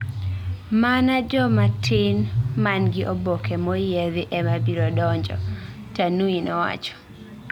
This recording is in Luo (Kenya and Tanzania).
Mana joma tin man gi oboke moyiedhi ema biro donjo, Tanui nowacho